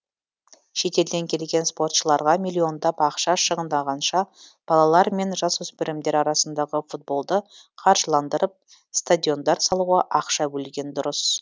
шетелден келген спортшыларға миллиондап ақша шығынданғанша балалар мен жасөспірімдер арасындағы футболды қаржыландырып стадиондар салуға ақша бөлген дұрыс